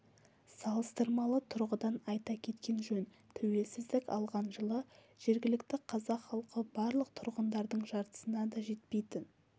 салыстырмалы тұрғыдан айта кеткен жөн тәуелсіздік алған жылы жергілікті қазақ халқы барлық тұрғындардың жартысына да жетпейтін